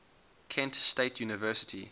kent state university